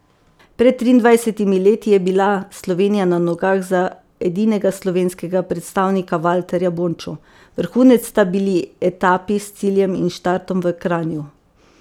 Pred triindvajsetimi leti je bila Slovenija na nogah za edinega slovenskega predstavnika Valterja Bončo, vrhunec sta bili etapi s ciljem in štartom v Kranju.